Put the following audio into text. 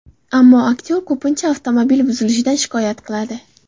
Ammo aktyor ko‘pincha avtomobili buzilishidan shikoyat qiladi.